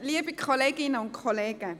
Ich gebe Grossrätin Fisli das Wort.